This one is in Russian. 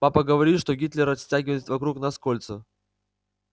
папа говорит что гитлер стягивает вокруг нас кольцо